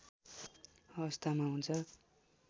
अवस्थामा हुन्छ